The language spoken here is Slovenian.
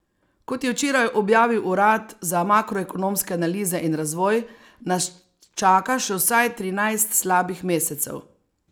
Kot je včeraj objavil urad za makroekonomske analize in razvoj, nas čaka še vsaj trinajst slabih mesecev.